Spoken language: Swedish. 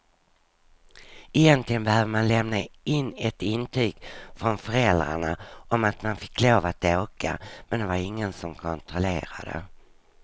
Egentligen behövde man lämna in ett intyg från föräldrarna om att man fick lov att åka, men det var det ingen som kontrollerade.